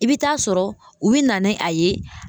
I bɛ taa sɔrɔ u bɛ na ni a ye